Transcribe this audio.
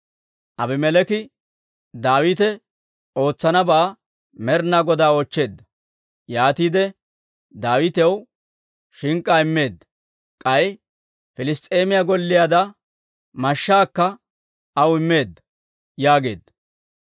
Abimeleeki Daawite ootsanabaa Med'inaa Godaa oochcheedda; yaatiide Daawitaw shink'k'aa immeedda; k'ay Piliss's'eemiyaa Gooliyaada mashshaakka aw immeedda» yaageedda.